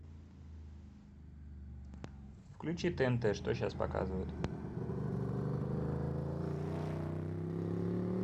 включи тнт что сейчас показывают